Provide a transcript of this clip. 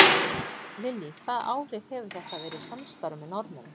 Lillý: Hvaða áhrif hefur þetta að vera í samstarfi með Norðmönnum?